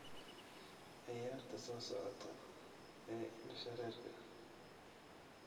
ciyaarta soo socota ee indho-shareerka